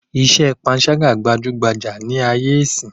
Iṣẹ́ pańṣágà gbajúgbajà ní ayé ìsín